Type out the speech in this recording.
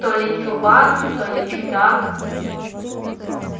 то ли чувак то ли чудак